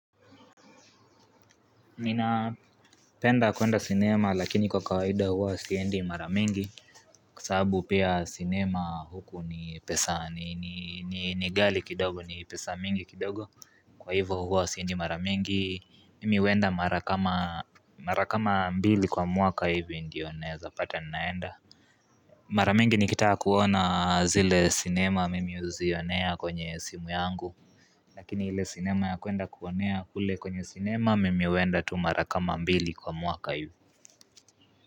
Ninapenda kwenda sinema lakini kwa kawaida huwa siendi mara mingi Kwa sababu pia cinema huku ni pesa ni nighali kidogo ni pesa mingi kidogo Kwa hivyo huwa siendi mara mingi mimi huenda marakama mbili kwa mwaka hivi ndio naeza pata ninaenda Mara mingi nikitaka kuona zile cinema mimi uzionea kwenye simu yangu Lakini ile cinema ya kwenda kuonea hule kwenye cinema mim huienda tu mara kama mbili kwa mwaka hivi.